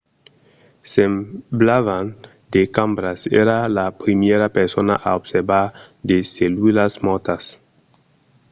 semblavan de cambras. èra la primièra persona a observar de cellulas mòrtas